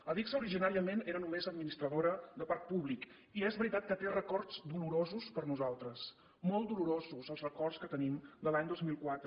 adigsa originàriament era només administradora de parc públic i és veritat que té records dolorosos per nosaltres molt dolorosos els records que tenim de l’any dos mil quatre